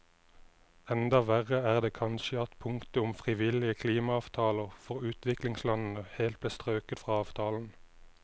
Enda verre er det kanskje at punktet om frivillige klimaavtaler for utviklingslandene helt ble strøket fra avtalen.